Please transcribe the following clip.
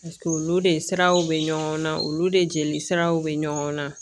olu de siraw bɛ ɲɔgɔn na olu de jeli siraw bɛ ɲɔgɔn na